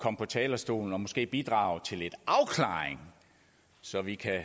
på talerstolen og måske bidrage til lidt afklaring så vi kan